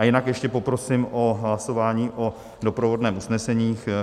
A jinak ještě poprosím o hlasování o doprovodném usnesení.